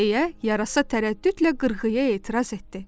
deyə yarasa tərəddüdlə qırğıya etiraz etdi.